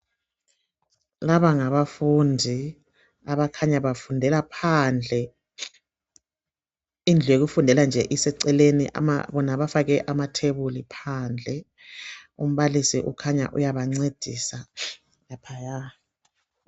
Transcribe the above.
Laba ngabafundi abakhanya bafundela phandle, indlu yokufundela nje iseceleni bona bafake amathebuli phandle. Umbalisi ukhanya uyabancedisa laphaya.